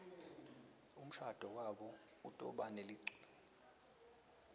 umshado wabo utobanebeculi